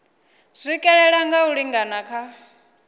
swikelela nga u lingana kha